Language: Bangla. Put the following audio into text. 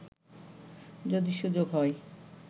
যদি সুযোগ হয়